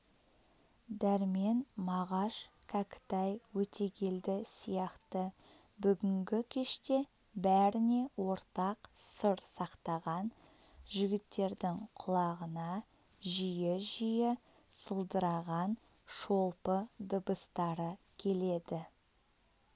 дәрмен мағаш кәкітай өтегелді сияқты бүгінгі кеште бәріне ортақ сыр сақтаған жігіттердің құлағына жиі-жиі сылдыраған шолпы дыбыстары келеді